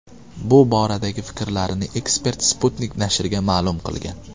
Bu boradagi fikrlarini ekspert Sputnik nashriga ma’lum qilgan .